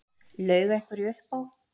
Laug einhverju upp á